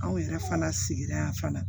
Anw yɛrɛ fana sigira yanfan na